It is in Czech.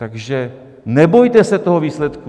Takže nebojte se toho výsledku.